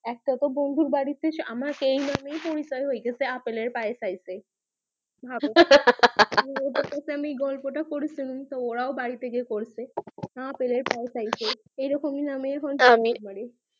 যত তো বন্ধুর বাড়ি তে আমাকে নামে পরিচয় হয়ে গেছে আপেল এর পায়েস আইছে ভাবো হা হা হা তো ওদের কাছে আমি গল্প টা পরেছিলামতো ওরাও বাড়ি তে গিয়ে পড়ছে না আপেল এর পায়েস আইছে এই রকমই নামে আমি